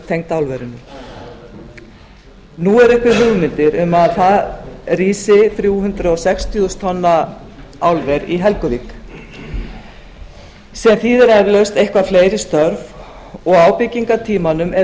tengd álverinu nú eru uppi hugmyndir að þrjú hundruð sextíu þúsund tonna álver rísi í helguvík sem þýðir eflaust eitthvað fleiri störf á byggingartímanum er